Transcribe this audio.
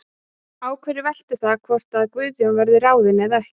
Á hverju veltur það hvort að Guðjón verði ráðinn eða ekki?